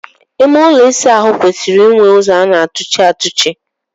Ime ụlọ ịsa ahụ kwesịrị inwe ụzọ a na-atụchi atụchi.